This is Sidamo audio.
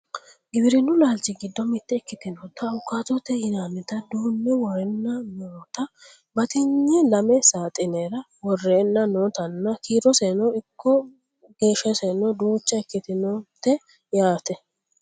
giwirinnu laalchi giddo mitte ikitinota awuukaatote yinannita duunne worreenna noota batinye lame saaxinera worreenna notanna kiiroseno ikko geeshshaseno duucha ikkitinote yaate